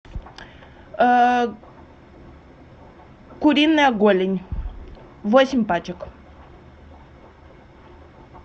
куриная голень восемь пачек